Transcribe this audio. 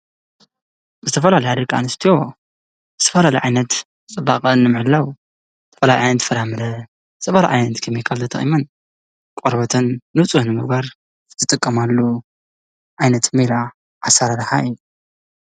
ዝተፈላለያ ደቂ ኣነስትዮ ዝተፈላለየ ዓይነት ፅባቐ ንምሕላው ዝተፈላለየ ዓይነት ፍራምረ ዝተፈላለየ ዓይነት ኬሚካል ተጠቂመን ቆርበተን ንፁህ ንምግባር ዝጠቀማሉ ዓይነት ሜላ ኣሰራርሓ እዩ፡፡